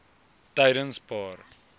tydenspaar